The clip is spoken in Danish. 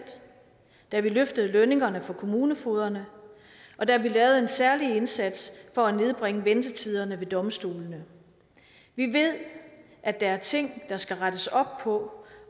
da vi løftede lønningerne for kommunefogederne og da vi lavede en særlig indsats for at nedbringe ventetiderne ved domstolene vi ved at der er ting der skal rettes op på